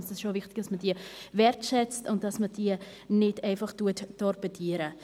Es ist auch wichtig, dass man diese wertschätzt und nicht torpediert.